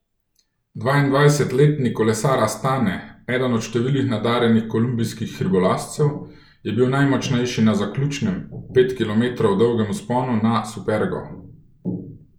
Dvaindvajsetletni kolesar Astane, eden od številnih nadarjenih kolumbijskih hribolazcev, je bil najmočnejši na zaključnem, pet kilometrov dolgem vzponu na Supergo.